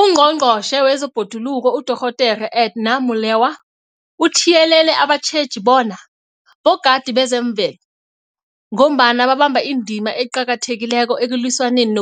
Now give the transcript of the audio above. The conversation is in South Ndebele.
UNgqongqotjhe wezeBhoduluko uDorh Edna Molewa uthiyelele abatjheji bona bogadi bezemvelo, ngombana babamba indima eqakathekileko ekulwisaneni